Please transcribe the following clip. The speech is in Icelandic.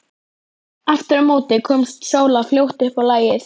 Aftur á móti komst Sóla fljótt upp á lagið.